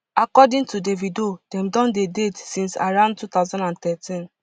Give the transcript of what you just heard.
according to davido dem don dey date since around two thousand and thirteen